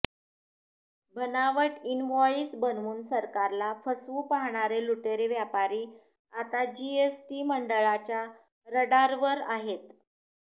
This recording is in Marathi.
बनावट इनव्हॉइस बनवून सरकारला फसवू पाहणारे लुटेरे व्यापारी आता जीएसटी मंडळाच्या रडारवर आहेत